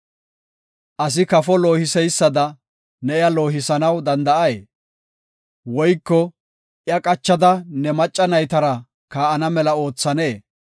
Asi kafo loohiseysada ne iya loohisanaw danda7ay? Woyko iya qachada ne macca naytara kaa7ana mela oothanee?